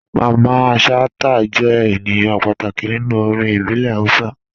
Mamman Shata jẹ̀ ènìyàn pàtàkì nínú orin ìbílẹ̀ Hausa.